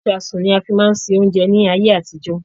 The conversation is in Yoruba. Ìsáásùn ni a fi máa ń ṣe oúnjẹ ní ayé àtijó.